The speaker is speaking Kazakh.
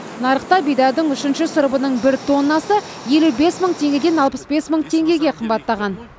нарықта бидайдың үшінші сұрыбының бір тоннасы елу бес мың теңгеден алпыс бес мың теңгеге қымбаттаған